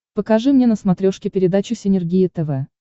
покажи мне на смотрешке передачу синергия тв